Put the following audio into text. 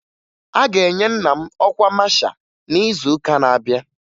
A ga-enye nna m ọkwa masha n'izuụka na-abịa